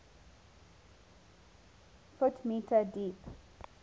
ft m deep